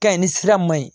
Kɛɲɛn ni sira ma ɲi